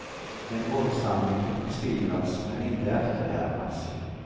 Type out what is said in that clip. En våldshandling fick beskrivas men inte efterhärmas.